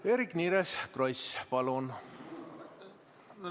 Eerik-Niiles Kross, palun!